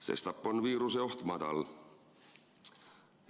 Sestap on viiruseoht madal.